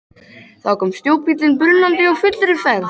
Þá kom snjóbíllinn brunandi á fullri ferð.